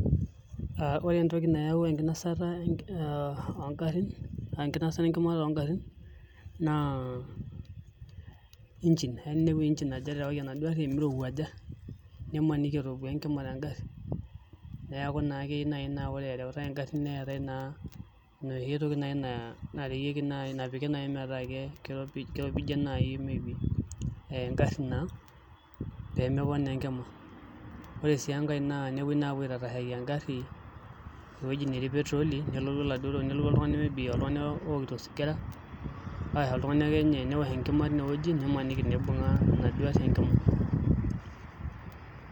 Aa Ore entoki nayawu enkinasa oongarin aa enkinasata enkima tolngarin naa engine eya ninepu engine eterewaki enaduo arri emiriwuaja nimaniki etopua enkima enkarri neeku naa Kiyieu naa ore erewutae enkarri neetae naa enoshi toi nai nareyieki nai napiki nai meetaa me kiropijie nai enkarri naa pee mepok naa enkima ore sii enkae naa tenepue aitatashaki enkarri ewueji netii petrol nelotu oltungani maybe ookito osigara Ashu oltungani akenye niwosh enkima tinewueji nimaniki ibunga enaduo arri enkima.